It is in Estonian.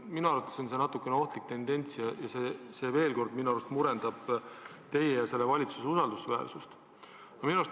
Minu arvates on see natuke ohtlik tendents, mis murendab teie ja selle valitsuse usaldusväärsust.